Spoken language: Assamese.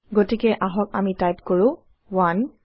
গতিকে আহক আমি টাইপ কৰো 1